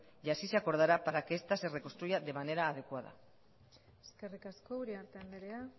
y así se acordará para que esta se reconstruya de manera adecuada eskerrik asko uriarte andrea